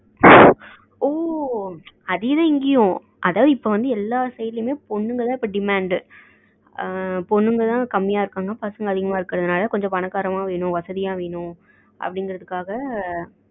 ஓ அதேதான் இங்கயும் அதாவது இப்போ எல்லா sideசைட்லயும் பொண்ணுங்கதான் demand பொண்ணுங்கதான் கம்மியா இருக்காங்க பசங்கதான் அதிகமா இருக்குறதனால கொஞ்சம் பணக்கரங்களா வேணும் வசதியா வேணும் அப்டிகிறதுக்காக